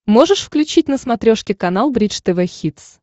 можешь включить на смотрешке канал бридж тв хитс